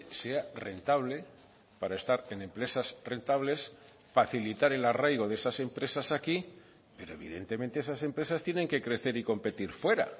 sea rentable para estar en empresas rentables facilitar el arraigo de esas empresas aquí pero evidentemente esas empresas tienen que crecer y competir fuera